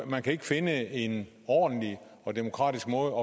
man kan ikke finde en ordentlig og demokratisk måde